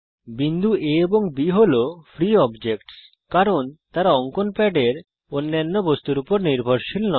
বিন্দু A এবং B হল ফ্রী অবজেক্টস কারণ তারা অঙ্কন প্যাডের অন্যান্য বস্তুর উপর নির্ভরশীল নয়